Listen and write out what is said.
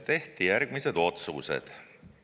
Tehti järgmised otsused.